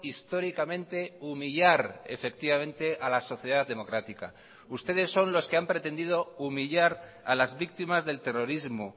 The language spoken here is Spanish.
históricamente humillar efectivamente a la sociedad democrática ustedes son los que han pretendido humillar a las víctimas del terrorismo